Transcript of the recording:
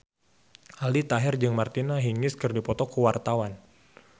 Aldi Taher jeung Martina Hingis keur dipoto ku wartawan